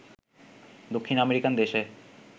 দক্ষিণ আমেরিকান দেশে